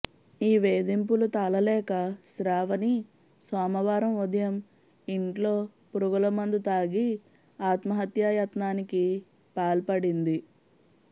ఈ వేధింపులు తాళలేక శ్రావణి సోమవారం ఉదయం ఇంట్లో పురుగుల మందు తాగి ఆత్మహత్యాయత్నానికి పాల్పడింది